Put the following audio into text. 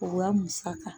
O wa musaka